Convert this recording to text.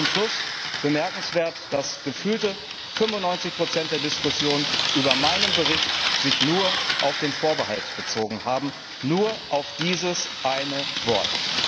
Zum Schluss Bemerkenswert ist, dass sich gefühlte 95 der Diskussion über meinen Bericht nur auf den Vorbehalt bezogen haben, nur auf dieses eine Wort.